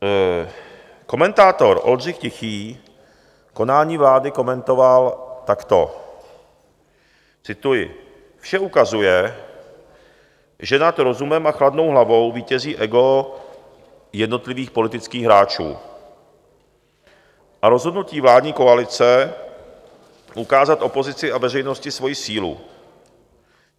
Komentátor Oldřich Tichý konání vlády komentoval takto - cituji: "Vše ukazuje, že nad rozumem a chladnou hlavou vítězí ego jednotlivých politických hráčů a rozhodnutí vládní koalice ukázat opozici a veřejnosti svoji sílu.